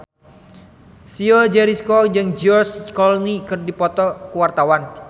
Chico Jericho jeung George Clooney keur dipoto ku wartawan